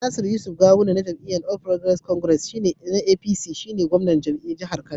Nasir Yusuf Gawuna na jam'iyyar All Progressives Congress (APC) shi ne gwamnan jihar Kano.